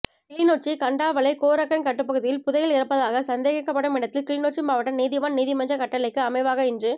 கிளிநொச்சி கண்டாவளை கோரக்கன் கட்டுப்பகுதியில் புதையல் இருப்பதாக சந்தேகிக்கப்படும் இடத்தில் கிளிநொச்சி மாவட்ட நீதிவான் நீதிமன்ற கட்டளைக்கு அமைவாக இன்று